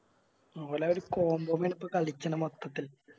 ഓലെ ആ ഒര് Combo ല് കളിച്ചാണ് മൊത്തത്തിൽ